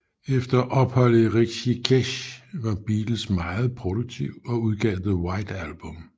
Efter opholdet i Rishikesh var Beatles meget produktiv og udgav The White Album